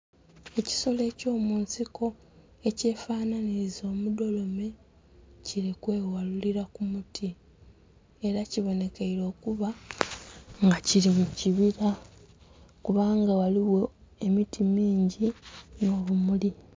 Ekisolo kyomunsiko ekyefananhinkiliza omudolome kiri kwewalulira kumuti era kibonhekeire okuba nga kiri mukibira kubanga ghaliwo emiti mingi n' obumuli